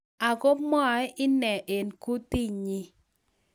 Ago mwaei ine eng kutinyi